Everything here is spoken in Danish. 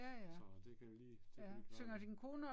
Ja det kan vi lige, det kan vi lige klare